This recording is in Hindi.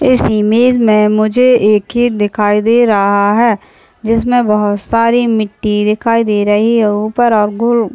इस इमेज में मुझे एक खेत दिखाई दे रहा है जिसमें बहुत सारी मिट्टी दिखाई दे रही हैं ऊपर और गुड़ --